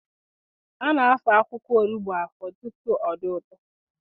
A na-afọ akwụkwọ onugbu afọ tutu ọ dị ụtọ.